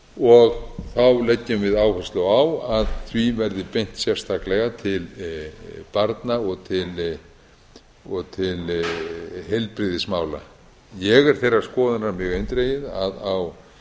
fjárframlag þá leggjum við áherslu á að því verði beint sérstaklega til barna og til heilbrigðismála ég er þeirrar skoðunar mjög eindregið að á